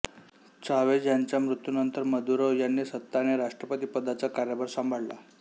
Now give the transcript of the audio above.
Chavez यांच्या मृत्यूनंतर Maduro यांनी सत्ता आणि राष्ट्रपती पदाचा कार्यभार संभाळला